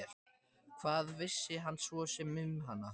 Hvað vissi hann svo sem um hana?